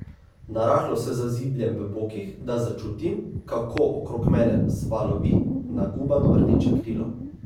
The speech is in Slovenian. Narahlo se zazibljem v bokih, da začutim, kako okrog mene vzvalovi nagubano rdeče krilo.